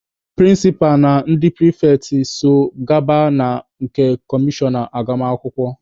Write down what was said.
Prịnsịpa na ndị pịrịfetị so gaba na nke kọmishọna agụmakwụkwọ.